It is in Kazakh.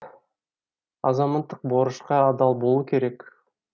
азаматтық борышқа адал болу керек